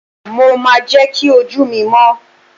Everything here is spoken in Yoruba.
mo ma je ki oju mi mọ́